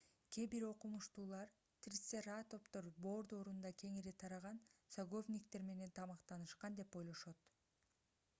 кээ бир окумуштуулар трицератоптор бор доорунда кеңири тараган саговниктер менен тамактанышкан деп ойлошот